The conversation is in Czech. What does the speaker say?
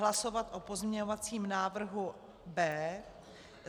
Hlasovat o pozměňovacím návrhu B.